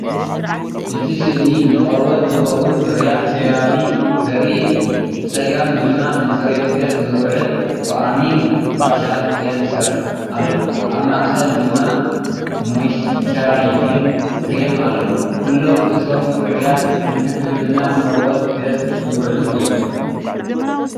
እቲ ስእሊ ንቆርበት ዝኸውን ፍርያት ሴራቪ ዘርኢ እዩ። ብጸጋም ድማ ንጽሬት ገጽ ዝውዕል "ፎኣሚንግ ፋሻል ክሌንሰር" ኣሎ፤ ኣብ ማእከል ድማ "ሞይስቸራይዚንግ ክሬም" ኣሎ። ኩሎም እቶም ፍርያት ንሕክምና ቆርበት ገጽ ዝውዕሉ እዮም።